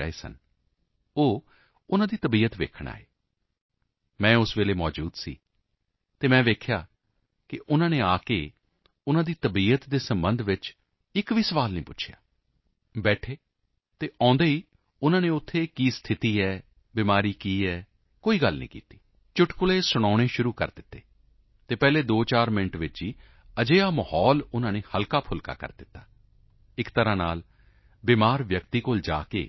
ਪ ਵੀ ਰਹੇ ਸਨ ਉਹ ਉਨ੍ਹਾਂ ਦੀ ਤਬੀਅਤ ਦੇਖਣ ਆਏ ਮੈਂ ਉਸ ਸਮੇਂ ਮੌਜੂਦ ਸੀ ਅਤੇ ਮੈਂ ਦੇਖਿਆ ਕਿ ਉਨ੍ਹਾਂ ਨੇ ਆ ਕੇ ਉਨ੍ਹਾਂ ਦੀ ਤਬੀਅਤ ਦੇ ਸਬੰਧ ਵਿੱਚ ਇੱਕ ਵੀ ਸੁਆਲ ਨਹੀਂ ਪੁੱਛਿਆ ਬੈਠੇ ਅਤੇ ਆਉਂਦੇ ਹੀ ਉਨ੍ਹਾਂ ਨੇ ਉੱਥੋਂ ਦੀ ਕੀ ਸਥਿਤੀ ਹੈ ਬਿਮਾਰੀ ਕਿਵੇਂ ਹੈ ਕੋਈ ਗੱਲਾਂ ਨਹੀਂ ਚੁਟਕੁਲੇ ਸੁਣਾਉਣੇ ਸ਼ੁਰੂ ਕਰ ਦਿੱਤੇ ਅਤੇ ਪਹਿਲੇ ਦੋਚਾਰ ਮਿੰਟ ਵਿੱਚ ਹੀ ਅਜਿਹਾ ਮਾਹੌਲ ਉਨ੍ਹਾਂ ਨੇ ਹਲਕਾਫੁਲਕਾ ਕਰ ਦਿੱਤਾ ਇੱਕ ਪ੍ਰਕਾਰ ਨਾਲ ਬਿਮਾਰ ਵਿਅਕਤੀ ਕੋਲ ਜਾ ਕੇ